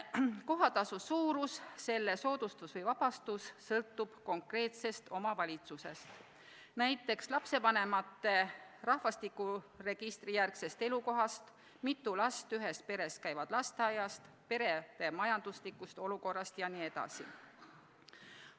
Kohatasu suurus, selle soodustus või sellest vabastus sõltub konkreetsest omavalitsusest, näiteks lapsevanemate rahvastikuregistrijärgsest elukohast, mitu last ühest perest käib lasteaias, perede majanduslikust olukorrast jne.